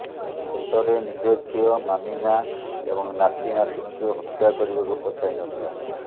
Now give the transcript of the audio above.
ଶେଷରେ ନିଜ ଝିଅ ମାମିନା ଏବଂ ନାତି ନାତୁଣୀଙ୍କୁ ହତ୍ୟା କରିବାକୁ ପଛାଇ ନଥିଲା